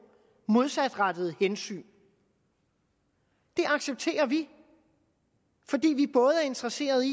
modsatrettede hensyn det accepterer vi fordi vi både er interesserede i